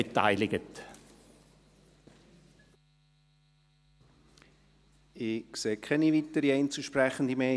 Ich sehe keine weiteren Einzelsprechenden mehr.